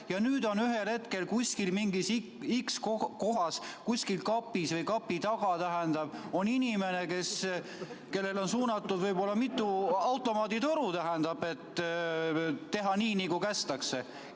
Ja nüüd on ühel hetkel inimene kuskil mingis x kohas, hääletab kuskil kapis või kapi taga ja talle on suunatud võib-olla mitu automaaditoru, et ta teeks nii, nagu kästakse.